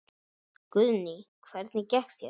Guðný: Hvernig gekk þér?